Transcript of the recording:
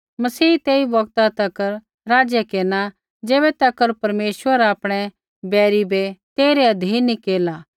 मसीह तेई बौगता तक राज्य केरना ज़ैबै तक परमेश्वर आपणै बैरी बै तेइरै अधीन नी केरला